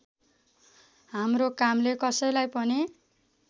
हाम्रो कामले कसैलाई पनि